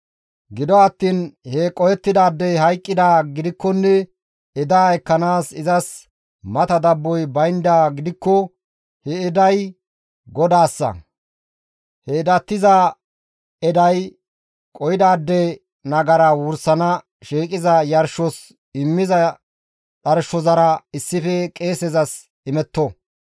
Gido attiin he qohettidaadey hayqqidaa gidikkonne edaa ekkanaas izas mata dabboy bayndaa gidikko he eday GODAASSA; he edatiza eday qohidaade nagara wursana shiiqiza yarshos immiza dharshozara issife qeesezas imetto.